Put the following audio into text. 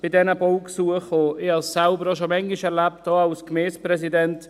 Ich habe dies selbst schon oft erlebt, auch als Gemeindepräsident: